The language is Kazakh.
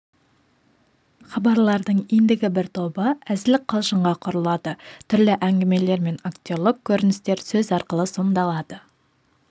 хабарлардың ендігі бір тобы әзіл-қалжыңға құрылады түрлі әңгімелер мен актерлік көріністер сөз арқылы сомдалады